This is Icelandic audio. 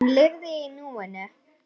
Hún lifði í núinu.